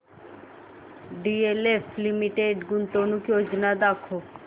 DLF limited गुंतवणूक योजना दाखव